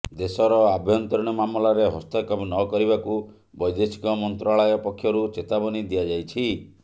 ଦେଶର ଆଭ୍ୟନ୍ତରୀଣ ମାମଲାରେ ହସ୍ତକ୍ଷେପ ନ କରିବାକୁ ବୈଦେଶିକ ମନ୍ତ୍ରଣାଳୟ ପକ୍ଷରୁ ଚେତାବନୀ ଦିଆଯାଇଛି